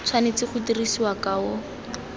tshwanetse go dirisiwa ka o